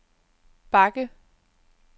bakke